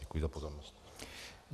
Děkuji za pozornost.